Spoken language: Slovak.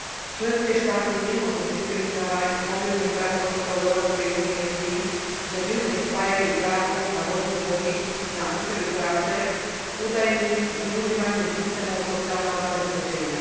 Členské štáty nemôžu diskriminovať mobilných pracovníkov Európskej únie s tým, že mylne spájajú právo na voľný pohyb na účely práce s údajným zneužívaním systémov sociálneho zabezpečenia.